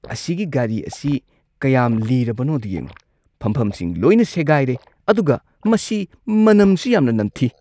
ꯑꯁꯤꯒꯤ ꯒꯥꯔꯤ ꯑꯁꯤ ꯀꯌꯥꯝ ꯂꯤꯔꯕꯅꯣꯗꯣ ꯌꯦꯡꯉꯣ꯫ ꯐꯝꯐꯝꯁꯤꯡ ꯂꯣꯏꯅ ꯁꯦꯒꯥꯏꯔꯦ ꯑꯗꯨꯒ ꯃꯁꯤ ꯃꯅꯝꯁꯨ ꯌꯥꯝꯅ ꯅꯝꯊꯤ꯫